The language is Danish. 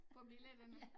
På billederne